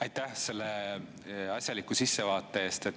Aitäh selle asjaliku sissevaate eest!